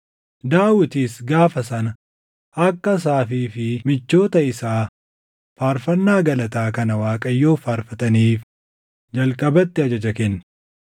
Daawitis gaafa sana akka Asaafii fi michoota isaa faarfannaa galataa kana Waaqayyoof faarfataniif jalqabatti ajaja kenne: